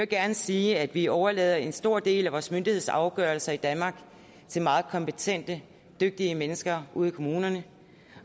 gerne sige at vi overlader en stor del af vores myndighedsafgørelser i danmark til meget kompetente og dygtige mennesker ude i kommunerne